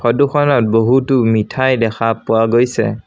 ফটোখনত বহুতো মিঠাই দেখা পোৱা গৈছে।